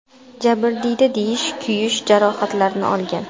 Jabrdiyda jiddiy kuyish jarohatlarini olgan.